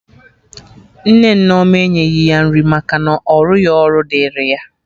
Nne Nneoma enyeghi ya nri maka na ọrụghị ọrụ dịrị ya